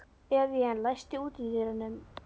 Evían, læstu útidyrunum.